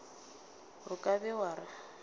o ka be wa re